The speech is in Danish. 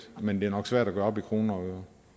men det er nok svært at gøre op i kroner og